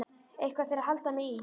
Eitthvað til að halda mér í.